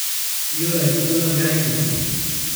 Iyiolo aitubulu nkerai kini